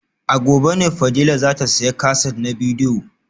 A gobe ne Fadila za ta sayi kaset na bidiyo